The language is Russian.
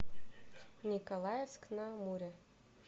николаевск на амуре